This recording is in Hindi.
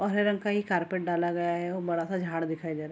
और हरे रंग का ये कारपेट डाला गया है बड़ा-सा झाड़ दिखाई दे रहा।